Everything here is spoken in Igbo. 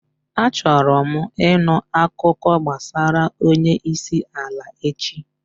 Achọrọ m ịṅụ akụkọ gbasara onye isi ala echi.